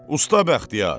Usta Bəxtiyar!